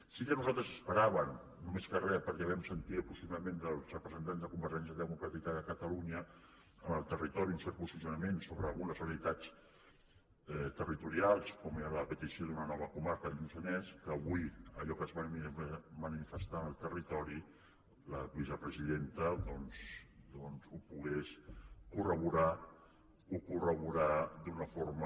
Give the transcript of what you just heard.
sí que nosaltres esperàvem més que res perquè vam sentir el posicionament dels representants de convergència democràtica de catalunya en el territori un cert posicionament sobre algunes realitats territorials com era la petició d’una nova comarca del lluçanès que avui allò que es va manifestar en el territori la vicepresidenta doncs ho pogués corroborar d’una forma